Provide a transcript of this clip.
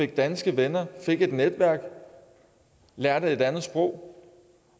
danske venner og et netværk lærte et andet sprog